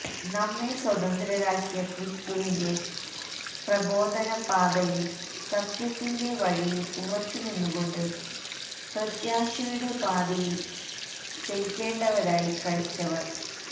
നമ്മെ സ്വതന്ത്രരാക്കിയ ക്രിസ്തുവിന്റെ പ്രബോധന പാതയില് സത്യത്തിന്റെ വഴിയില് ഉറച്ചുനിന്നുകൊണ്ട് പ്രത്യാശയുടെ പാതിയില് ചരിക്കേണ്ടവരാണ് ക്രൈസ്തവര്